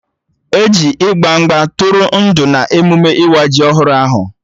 E ji ịgba mgba tụrụ ndụ na emụme ịwa ji ọhụrụ ahụ